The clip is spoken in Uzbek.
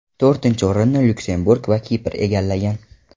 To‘rtinchi o‘rinni Lyuksemburg va Kipr egallagan.